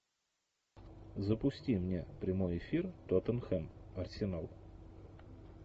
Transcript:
запусти мне прямой эфир тоттенхэм арсенал